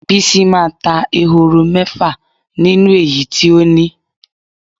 Bisi máa ta ehoro mé̩fà nínú èyí tí ó ní.